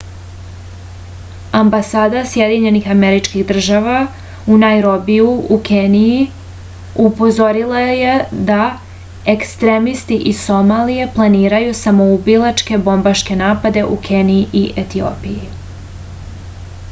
ambasada sjedinjenih američkih država u najrobiju u keniji upozorila je da ekstremisti iz somalije planiraju samoubilačke bombaške napade u keniji i etiopiji